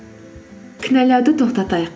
кінәлауды тоқтатайық